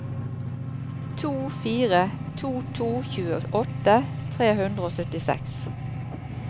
to fire to to tjueåtte tre hundre og syttiseks